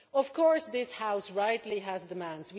Of course, this House rightly has demands.